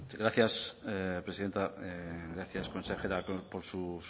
gracias presidenta gracias consejera por sus